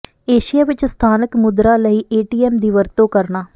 Asia ਵਿੱਚ ਸਥਾਨਕ ਮੁਦਰਾ ਲਈ ਏਟੀਐਮ ਦੀ ਵਰਤੋਂ ਕਰਨਾ